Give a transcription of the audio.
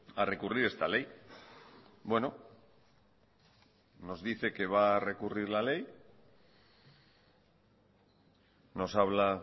a recurrir esta ley nos dice que va a recurrir la ley nos habla